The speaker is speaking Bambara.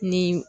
Ni